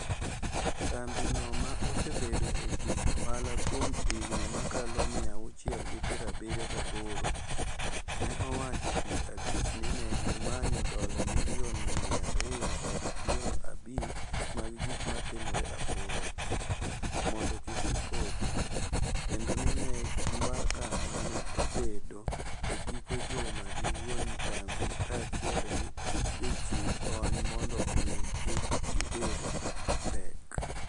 kambi no ma osebedo e tij ohala kuom higni makalo miya achiel gi piero abiriyo gi aboro, ne owacho tich abich ni negi manyo dola milion miya ariyo kod piero abich mag gik matimore apoya, mondo kik gipodhi, kendo ni ne e mbaka mane obedo e giko juma gi wuone kambi kachiel gi jochiw kony mondo ogeng' kik gibed gi pek.